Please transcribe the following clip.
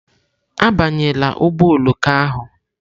Abanyela ụgbọ oloko ahụ!